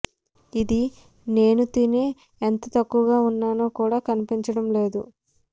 ఇది నేను తినే ఎంత తక్కువగా ఉన్నానో కూడా కనిపించడం లేదు